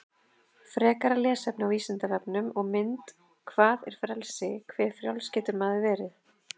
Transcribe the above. Frekara lesefni á Vísindavefnum og mynd Hvað er frelsi, hve frjáls getur maður verið?